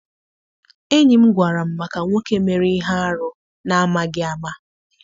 Enyi m gwara m maka nwoke mere ihe arụ na amaghị ama.